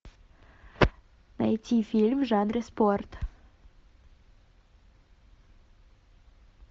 найти фильм в жанре спорт